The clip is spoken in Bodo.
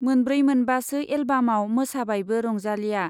मोनब्रै मोनबासो एलबामाव मोसाबायबो रंजालीया।